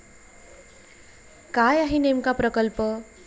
काय आहे नेमका प्रकल्प?